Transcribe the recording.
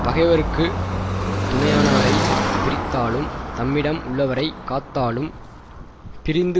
பகைவர்ககு துணையானவரை பிரித்தாலும் தம்மிடம் உள்ளவரை காத்தாலும் பிரிந்து